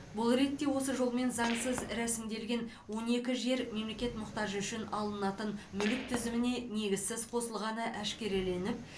бұл ретте осы жолмен заңсыз рәсімделген он екі жер мемлекет мұқтажы үшін алынатын мүлік тізіміне негізсіз қосылғаны әшкереленіп